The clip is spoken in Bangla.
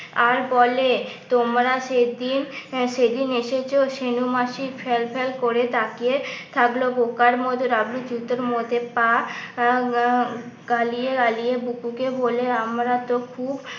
আর বলে তোমরা সেদিন সেদিন এসেছো ছেনু মাসি ফেলফেল করে তাকিয়ে থাকলো বোকার মতো ডাবলু জুতোর মধ্যে পা আহ গালিয়ে গালিয়ে বুকুকে বলে আমরা তো খুব